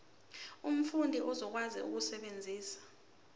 umfundi uzokwazi ukusebenzisa